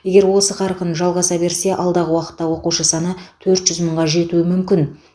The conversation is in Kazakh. егер осы қарқын жалғаса берсе алдағы уақытта оқушы саны төрт жүз мыңға жетуі мүмкін